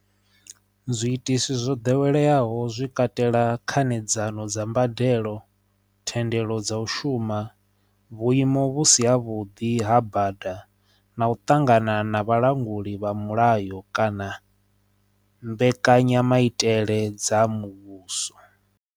Zwi itiswa zwo ḓoweleaho zwi katela khanedzano dza mbadelo thendelo dza u shuma vhuimo vhusi ha vhuḓi ha bada na u ṱangana na vhalanguli vha mulayo kana mbekanyamaitele dza muvhuso.